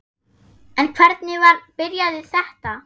En hvernig byrjaði þetta?